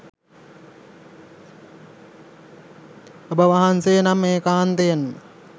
ඔබවහන්සේ නම් ඒකාන්තයෙන්ම